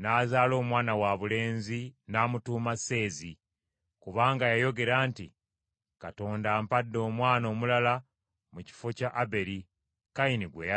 n’azaala omwana wabulenzi n’amutuuma Seezi, kubanga yayogera nti, “Katonda ampadde omwana omulala mu kifo kya Aberi, Kayini gwe yatta.”